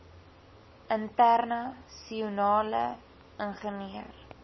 interna sionale ingenieur